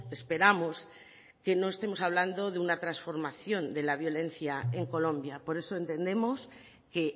esperamos que no estemos hablando de una transformación de la violencia en colombia por eso entendemos que